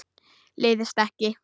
Leiðist ekki.